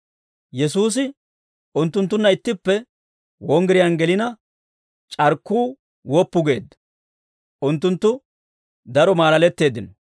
Yesuusi unttunttunna ittippe wonggiriyaan gelina, c'arkkuu woppu geedda; unttunttu daro maalaletteeddino.